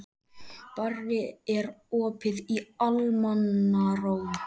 Barri, er opið í Almannaróm?